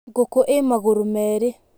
Ngũkũ ĩ magũrũ merĩ.